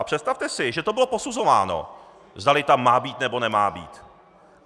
A představte si, že to bylo posuzováno, zdali tam má být, nebo nemá být.